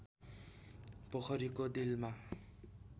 पोखरीको डिलमा